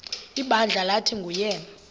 ibandla lathi nguyena